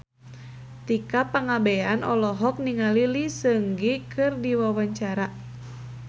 Tika Pangabean olohok ningali Lee Seung Gi keur diwawancara